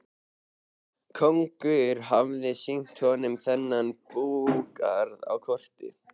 Konungur hafði sýnt honum þennan búgarð á korti.